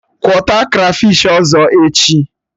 Kwọta krafish ọzọ echi!